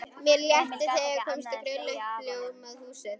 Mér létti þegar ég sá loks grilla í uppljómað húsið.